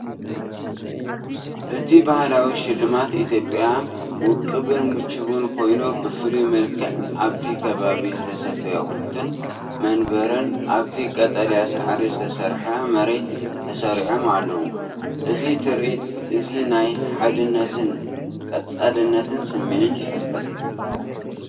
እቲ ባህላዊ ሽልማት ኢትዮጵያ ውቁብን ምቹውን ኮይኑ፡ብፍሉይ መልክዕ ኣብቲ ከባቢ ዝተሰፍዩ ኣቑሑትን መንበርን ኣብቲ ቀጠልያ ሳዕሪ ዝተሰርሐ መሬት ተሰሪዖም ኣለዉ። እዚ ትርኢት እዚ ናይ ሓድነትን ቀጻልነትን ስምዒት ይፈጥር።